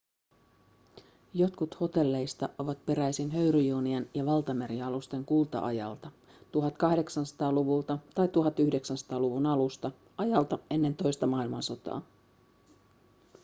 jotkut hotelleista ovat peräisin höyryjunien ja valtamerialusten kulta-ajalta 1800-luvulta tai 1900-luvun alusta ajalta ennen toista maailmansotaa